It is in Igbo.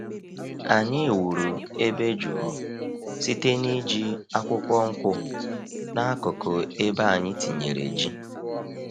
Anyị wuru ebe jụụ site n’iji akwụkwọ nkwụ n’akụkụ ebe anyị tinyere ji.